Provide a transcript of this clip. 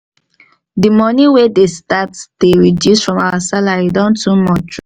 the money wey dey start dey reduce from our salary don too much